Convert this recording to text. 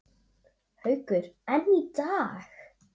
Haukur: En í dag?